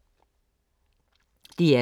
DR2